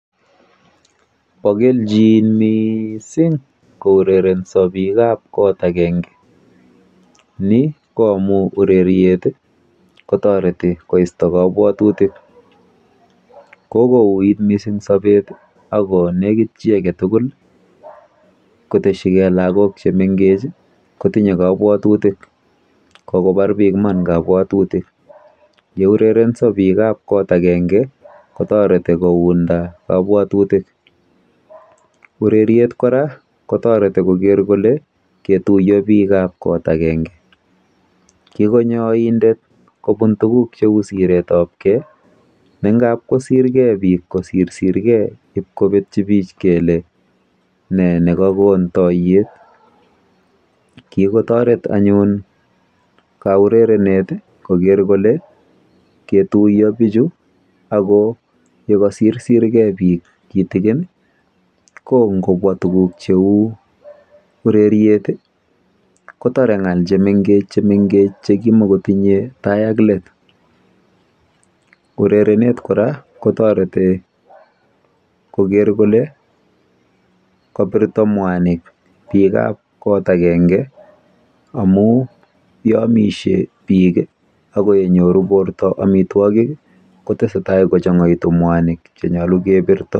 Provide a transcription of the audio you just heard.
Pa kelchin missing' kourerensa piik ap kot agenge. Ni ko amu ureriet kotareti koista kapwatutik. Ko ko uiit missing' sapet i ako nekit chi age tugul ,koteschi gei lagok che mengech kotinye kapwatutik. Kokopar piik iman kapwatutiik. Ye urerenso piik ap kot agenge kotareti kounda kapwatitik. Ureriet kora kotareti koker kole ketuya piik ap kot agenge. Kikonyo aindet kopun tugul che u siret ap gei, ne ngap kosirgei piik kosirsirgei ipkopetchi pich kele ne ne kakon tayet. Kikotaret anyun kaurerenet koker kole ketuya pichu ako ye kasirsirgei piik kitigin i, ko ngopwa tuguk che u ureriet i, kotar ng'al che mengech che kimakotinye tai ak let. Urerenet kora kotareti koker kole kapirta mwanik piik ap kot agenge amu yeamishe piik ako ye nyoru porto amitwogil ko tese kochang'aitu mwanik che mache kepirta.